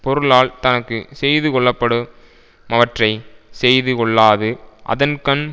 பொருளால் தனக்கு செய்துகொள்ளப்படு மவற்றை செய்து கொள்ளாது அதன்கண்